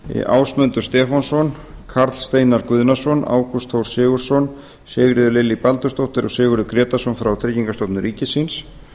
ásmundur stefánsson karl steinar guðnason ágúst þór sigurðsson sigríður lillý baldursdóttur og sigurður grétarsson frá tryggingastofnun ríkisins